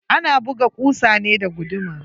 Ana buga kusa ne da guduma.